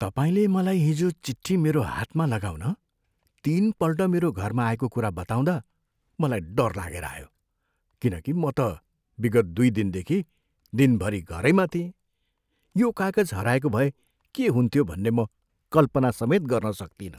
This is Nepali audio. तपाईँले मलाई हिजो चिट्ठी मेरो हातमा लगाउन तिनपल्ट मेरो घरमा आएको कुरा बताउँदा मलाई डर लागेर आयो। किनकि म त विगत दुई दिनदेखि दिनभरि घरैमा थिएँ। यो कागज हराएको भए के हुन्थ्यो भन्ने म कल्पनासमेत गर्न सक्तिनँ।